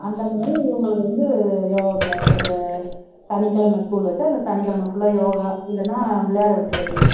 அந்த மாரி இவங்களுக்கு வந்து யோகா class அந்த சனிக்கிழமை school வச்சா இந்த சனிக்கிழமை full ஆ யோகா இல்லேன்னா விளையாட விட்டுறது ஆஹ் பரவாயில்லை அந்த மாரி எது